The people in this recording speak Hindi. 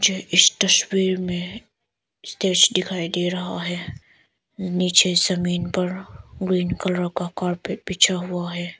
इस तस्वीर में स्टेज दिखाई दे रहा है नीचे जमीन पर ग्रीन कलर का कॉरपोरेट बिछा हुआ है।